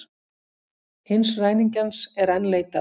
Hins ræningjans er enn leitað